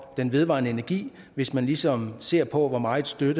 den vedvarende energi hvis man ligesom ser på hvor meget støtte